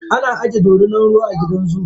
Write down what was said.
Ana aje dorinar ruwa a gidan zoo.